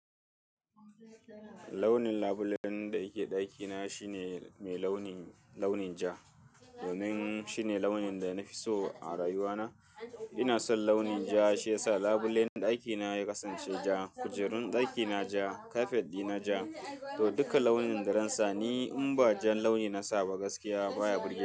Launin labulen da yake ɗakina shine mai launi, launin ja. Domin shine launin da na fi so a rayuwana. Ina son launin ja, shi yasa labulen ɗakina ya kasance ja, kujerun ɗakina ja, kafet ɗina ja, to duka launin da ransa ni in ba jan launi na saba gaskiya baya burge ni.